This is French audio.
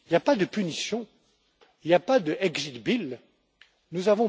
Il n'y a pas de punition, il n'y a pas d' exit bill Nous